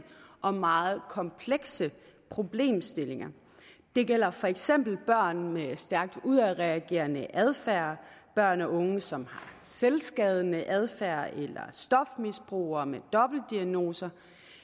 og meget komplekse problemstillinger det gælder for eksempel børn med stærkt udadreagerende adfærd børn og unge som har selvskadende adfærd eller stofmisbrugere med dobbeltdiagnoser